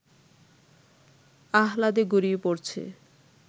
আহ্লাদে গড়িয়ে পড়ছে